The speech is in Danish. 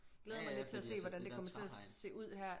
Ja ja altså med det der træhegn